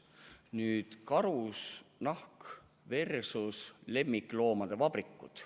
Nüüd siis karusnahk versus lemmikloomade vabrikud.